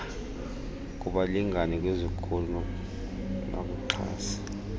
kubalingane kwizikhulu nakuxhasi